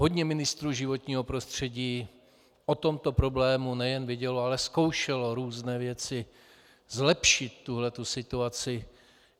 Hodně ministrů životního prostředí o tomto problému nejen vědělo, ale zkoušelo různé věci zlepšit tuto situaci.